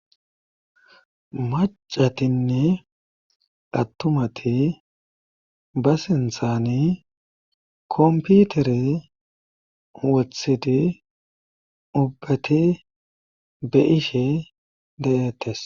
macatinne attumati ba sinthani komputere wothidi ubbati be'ishe dayettes